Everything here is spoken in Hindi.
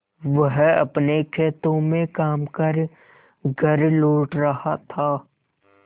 वह अपने खेतों में काम कर घर लौट रहा था